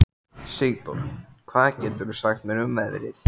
Sigdór, hvað geturðu sagt mér um veðrið?